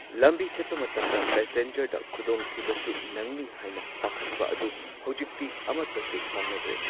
ꯂꯝꯕꯤ ꯆꯠꯄ ꯃꯇꯝꯗ ꯄꯦꯁꯦꯟꯖꯔꯗ ꯈꯨꯗꯣꯡꯊꯤꯕꯁꯨ ꯅꯪꯅꯤ ꯍꯥꯏꯅ ꯄꯥꯈꯠꯄ ꯑꯗꯨ ꯍꯧꯖꯤꯛꯇꯤ ꯑꯃꯠꯇꯁꯨ ꯐꯥꯎꯅꯗ꯭ꯔꯦ꯫